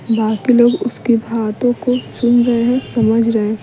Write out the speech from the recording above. बाकी लोग उसकी बातों को सुन रहे हैं समझ रहे हैं।